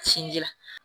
Sinji